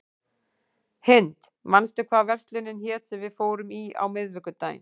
Hind, manstu hvað verslunin hét sem við fórum í á miðvikudaginn?